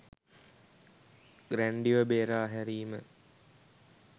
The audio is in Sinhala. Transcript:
ගැන්ඩ්‍රිව බේරා හැරීම